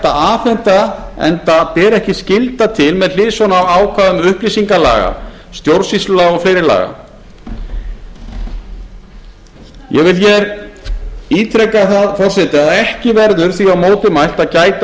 að afhenda enda beri ekki skylda til með hliðsjón af ákvæðum upplýsingalaga stjórnsýslulaga og fleiri laga ég vil hér ítreka það forseti að ekki verður því á móti mælt að gæta